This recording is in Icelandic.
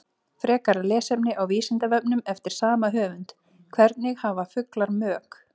Frekara lesefni á Vísindavefnum eftir sama höfund: Hvernig hafa fuglar mök?